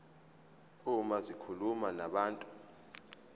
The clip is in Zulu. uma zikhuluma nabantu